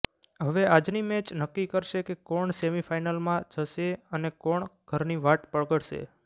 હવે આજની મેચ નક્કી કરશે કે કોણ સેમિ ફાનલમાં જશે અને કોણ ઘરની વાટ પકડશે